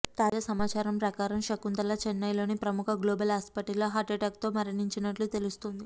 తాజా సమాచారం ప్రకారం శకుంతల చెన్నై లోని ప్రముఖ గ్లోబల్ హాస్పిటల్ లో హార్ట్ అట్టాక్ తో మరణించినట్లు తెలుస్తుంది